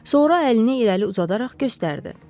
Sonra əlini irəli uzadaraq göstərdi.